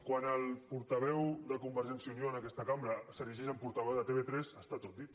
quan el portaveu de convergència i unió en aquesta cambra s’erigeix en portaveu de tv3 està tot dit